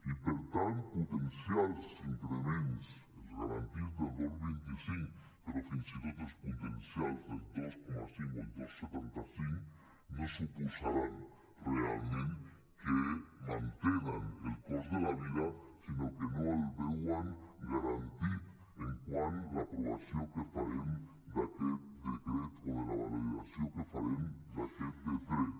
i per tant potenciar els increments els garantits del dos coma vint cinc però fins i tot els potencials del dos coma cinc o el dos coma setanta cinc no suposarà realment que mantenen el cost de la vida sinó que no el veuen garantit quant a l’aprovació que farem d’aquest decret o de la validació que farem d’aquest decret